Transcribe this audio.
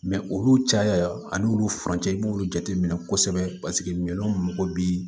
olu caya ani olu furancɛ i b'olu jateminɛ kosɛbɛ paseke minɛnw mago bi